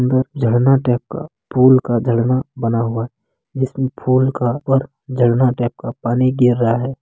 इधर झरना टाइप का फूल का झरना बना हुआ है जिसमें फूल का और झरना टाइप का पानी गिर रहा है।